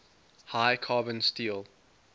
high carbon steel